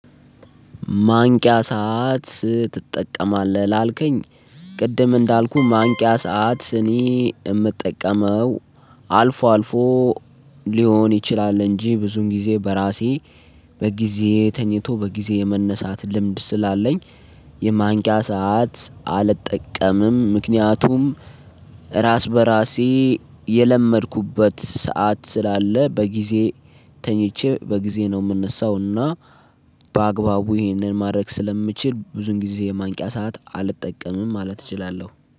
ማንቂያ ሰዓት ትጠቀማለህ? ላልከኝ ቅድም እንዳልኩህ ማንቂያ ሰዓት እኔ የምጠቀመው አልፎ አልፎ ሊሆን ይችላል እንጂ ብዙም ጊዜ በራሴ በጊዜ ተኝቶ በጊዜ የመነሳት ልምድ ስላለኝ የማንቂያ ሰዓት አልጠቀምም ምክንያቱም ራስ በራሴ የለመድኩበት ሰዓት ስላለ በጊዜ ተኝቼ በጊዜ ነው የምነሳው እና በአግባቡ ይሄንን ማድረግ ስለምችል ብዙን ጊዜ የማንቂያ ሰዓት አልጠቀምም ማለት እችላለሁ